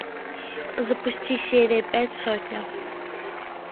запусти серия пять сотня